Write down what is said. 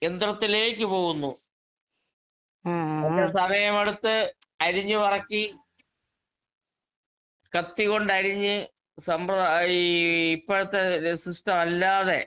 യന്ത്രത്തിലേക്ക് പോകുന്നു. എല്ലാം സമയമെടുത്ത് അരിഞ്ഞ് പെറുക്കി കത്തികൊണ്ടരിഞ്ഞ് സമ്പ്രദാ ഈ ഇപ്പോഴത്തെ എഹ് സിസ്റ്റം അല്ലാതെ